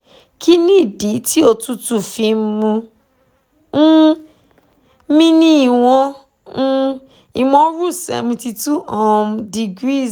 kin ni idi ti otutu fi n mu um um seventy-two degrees